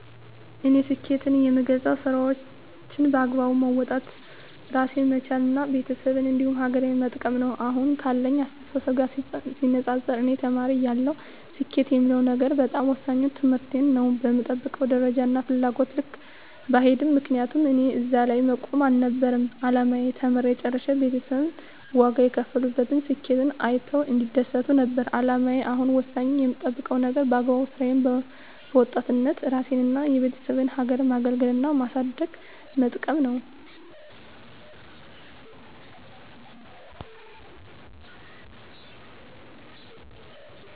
እኔ ስኬትን የምገልፀው ስራዎቸን በአግባቡ መወጣት እራሴን መቻል እና ቤተሰቤን እንዲሁም ሀገሬን መጥቀም ነው። አሁን ካለኝ አስተሳሰብ ጋር ሲነፃፀር እኔ ተማሪ እያለሁ ስኬት የምለው ነገር በጣም ወሳኙ ትምህርቴን ነው በምጠብቀው ደረጃና ፍላጎቴ ልክ ባይሄድም ምክንያቱም እኔ እዚህ ላይ መቆም አልነበረም አላማዬ ተምሬ ጨርሸ ቤተሰብ ዋጋ የከፈሉበትን ስኬቴን አይተው እንዲደሰቱ ነበር አላማዬ አሁን ወሳኙ የምጠብቀው ነገር በአግባቡ ስራዬን በወጣት እራሴንና የቤተሰቤን ሀገሬን ማገልገልና ማሳደግና መጥቀም ነው።